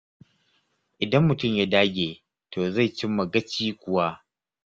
Idan mutum ya dage, to zai cimma gaci kuwa.